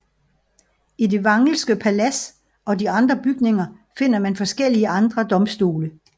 I det Wrangelske palads og de andre bygninger finder man forskellige andre domstole